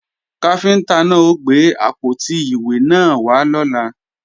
Káfíntá náà ó gbé àpótí ìwé náà wá lọ́la